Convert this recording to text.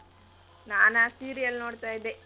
ನಾನಾ serial ನೋಡ್ತಾ ಇದ್ದೆ.